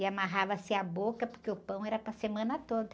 E amarrava-se a boca, porque o pão era para semana toda.